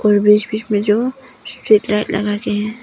और बीच बीच में जो लगाकर के हैं।